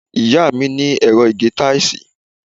ìyá mi ní ẹ̀rọ ìgé táìsì.